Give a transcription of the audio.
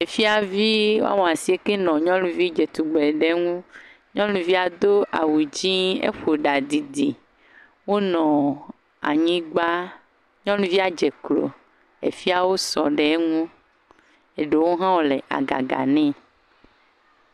Efiavi woame esieke aɖe nɔ nyɔnuvi dzetugbe ɖe ŋu, nyɔnuvia do awu dzɛ̃ eƒo ɖa dzidzi, wonɔ anyigba nyɔnuvia dze klo afiawo sɔ ɖe eŋu eɖewo hã le agaga nɛ.